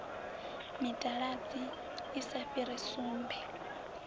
mitaladzi i sa fhiri sumbe